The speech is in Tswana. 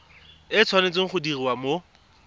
e tshwanetse go diriwa mo